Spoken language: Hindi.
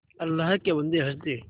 अल्लाह के बन्दे हंस दे